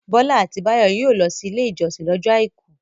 Bọ́lá àti Báyọ̀ yóò lọ sí Ilé-ìjọsìn lọ́jọ́ àìkú.